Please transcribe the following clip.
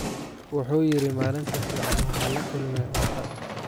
Wuxuu yiri malinta fican waxa lakulme cunta.